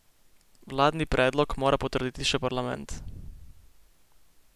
Vladni predlog mora potrditi še parlament.